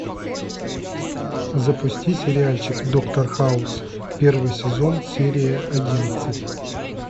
запусти сериальчик доктор хаус первый сезон серия одиннадцать